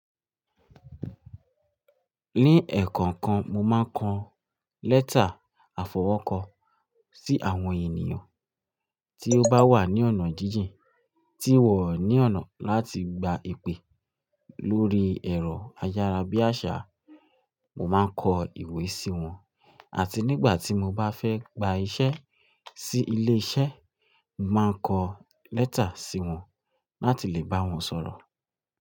Ní ẹ̀kọ̀nkan, mo máa ń kọ lẹ́tà àfọwọ́kọ sí àwọn ènìyàn tí ó bá wà ní ọ̀nà jíjìn, tí wọ́n ní ọ̀nà láti gba ipè lórí ẹ̀rọ ayárabíàṣá, mo máa ń kọ ìwé sí wọn. Àti nígbà tí mo bá fẹ́ gba iṣẹ́ sí ilé iṣẹ́, mo máa ń kọ lẹ́tà sí wọn, láti lè bá wọn sọ̀rọ̀